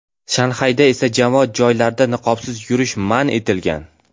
Shanxayda esa jamoat joylarida niqobsiz yurish man etilgan .